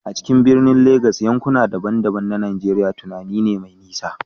A cikin birnin Legas, yankuna daban-daban na Najeriya tunani ne mai nisa.